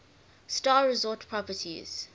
star resort properties